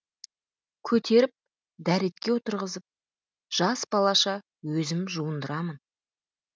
көтеріп дәретке отырғызып жас балаша өзім жуындырамын